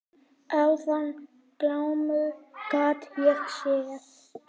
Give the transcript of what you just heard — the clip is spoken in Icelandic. Áðan glámu gat ég séð.